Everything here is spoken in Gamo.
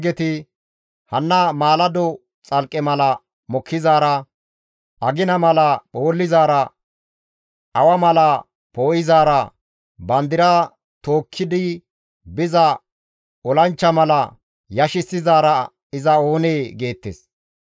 Hanna maalado xalqqe mala mokkizaara, agina mala phoollizaara, awa mala poo7izaara, bandira tookkidi biza olanchcha mala yashissizaara iza oonee?» geettes.